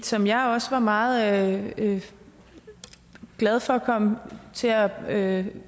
som jeg også var meget glad for kom til at